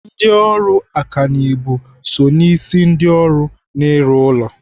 Ndị ọrụ ọkanibo so n'isi ndị ọrụ n'ịrụ ụlọ.